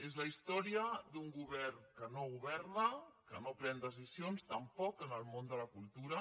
és la història d’un govern que no governa que no pren decisions tampoc en el món de la cultura